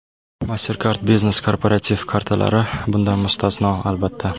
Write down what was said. MasterCard Business korporativ kartalari bundan mustasno, albatta.